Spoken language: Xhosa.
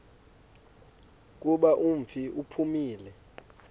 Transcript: kuba umfi uphumile